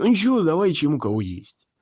ну ничего давайте ему кого есть